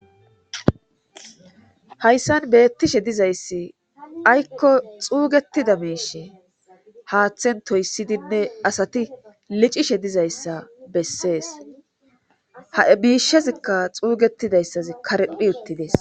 Hayssan beettishe dizayssi aykko xuugetida miishe haaththen toyssidinne asati licishe dizayssa bessees ha miishezikka xuugetidayssazi karephi uttides.